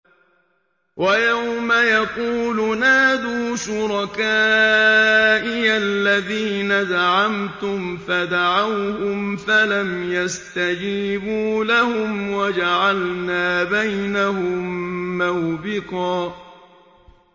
وَيَوْمَ يَقُولُ نَادُوا شُرَكَائِيَ الَّذِينَ زَعَمْتُمْ فَدَعَوْهُمْ فَلَمْ يَسْتَجِيبُوا لَهُمْ وَجَعَلْنَا بَيْنَهُم مَّوْبِقًا